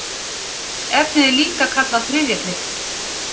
Efnið er líka kallað þriðja kryddið.